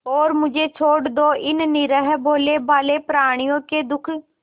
और मुझे छोड़ दो इन निरीह भोलेभाले प्रणियों के दुख